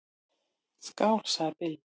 """Skál, sagði Bill."""